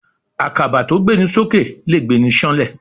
Àkàbà tó gbéni sókè lè gbéni sáńlẹ̀.